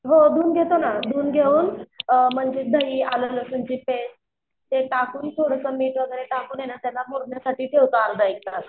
हो धून घेतो ना. धून घेऊन अअ मग तिच्यात दही आलं लसूण ची पेस्ट ते टाकून थोडासा मीठ वैगरे टाकूने ना त्याला मुरण्यासाठी ठेवता अर्धा एक तास.